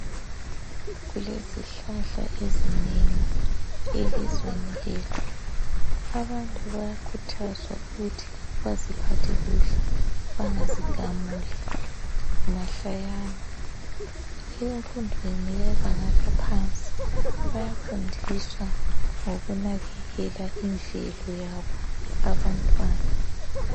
Kulezihlahla ezinengi elizweni lethu. Abantu bayakhuthazwa ukuthi baziphathe kuhle bangazigamuli mahlayana. Emfundweni yebanga laphansi bayafundiswa ngokunakekela indlelo yabo abantwana.